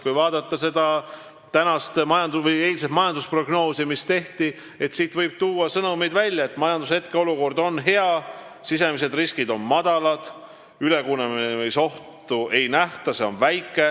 Kui vaadata eilset majandusprognoosi, mis tehti, siis siit võib tuua esile sellised sõnumid: majanduse hetkeolukord on hea, sisemised riskid on väikesed, ülekuumenemisohtu ei nähta.